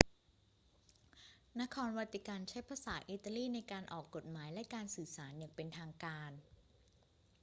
นครวาติกันใช้ภาษาอิตาลีในการออกกฎหมายและการสื่อสารอย่างเป็นทางการ